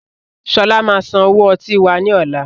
Sọlá máa san owó ọtí wá ní ọ̀la.